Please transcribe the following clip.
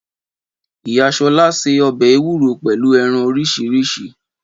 Ìyá shola sẹ ọ̀bẹ ewúro pẹ̀lú ẹran oríṣiríṣi